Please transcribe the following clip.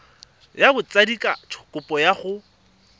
ya botsadikatsho kopo ya go